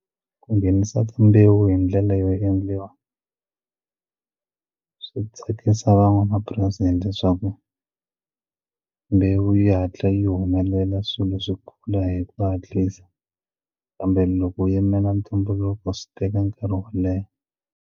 Ku nghenisa timbewu hi ndlela yo endliwa swi tsakisa van'wamapurasi leswaku mbewu yi hatla yi humelela swilo swi kula hi ku hatlisa kambe loko u yimela ntumbuluko swi teka nkarhi wo leha.